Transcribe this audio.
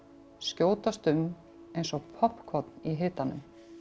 skjótast um eins og poppkorn í hitanum